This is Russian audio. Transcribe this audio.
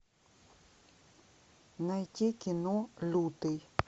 найти кино лютый